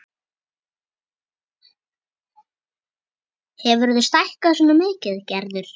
Hefurðu stækkað svona mikið, Gerður?